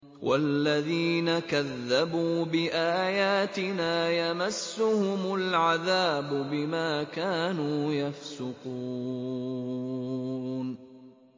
وَالَّذِينَ كَذَّبُوا بِآيَاتِنَا يَمَسُّهُمُ الْعَذَابُ بِمَا كَانُوا يَفْسُقُونَ